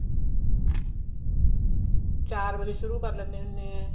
ਚਾਰ ਵਜੇ ਸ਼ੁਰੂ ਕਰ ਲੈਂਦੇ ਹੁੰਦੇ ਆ